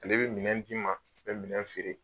Ale be minɛn d'i ma, a be minɛn feere.